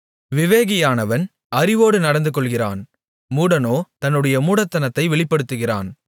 விவேகியானவன் அறிவோடு நடந்துகொள்ளுகிறான் மூடனோ தன்னுடைய மூடத்தனத்தை வெளிப்படுத்துகிறான்